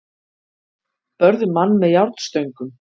Börðu mann með járnstöngum